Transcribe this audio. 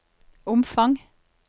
omfang